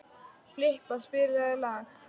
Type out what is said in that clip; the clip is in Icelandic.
Filippa, spilaðu lag.